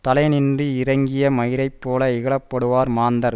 தலையினின்று இறங்கிய மயிரைப்போல இகழப்படுவர் மாந்தர்